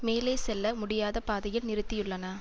மேலே செல்ல முடியாத பாதையில் நிறுத்தியுள்ளன